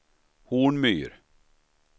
Hornmyr